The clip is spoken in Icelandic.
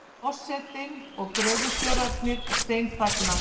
Forsetinn og gröfustjórarnir steinþagna.